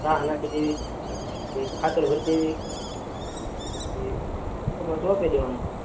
નાખી દેવી ખાતર ભરી દેવી પસી કપા ચોપી દેવાના